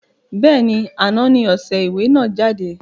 Bẹ́ẹ̀ni, àná ni ọṣẹ ìwẹ̀ náà jáde